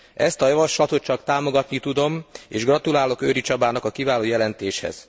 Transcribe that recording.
Ezt a javaslatot csak támogatni tudom, és gratulálok Őry Csabának a kiváló jelentéshez.